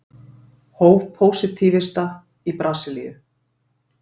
Hof pósitífista í Brasilíu.